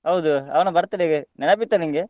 ಹೌದು ಅವನ birthday ಗೆ ನೆನಪಿತ್ತಾ ನಿಂಗೆ?